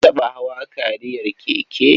Ka taɓa hawa kariyar keke?